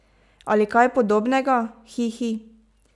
Ali kaj podobnega, hi, hi.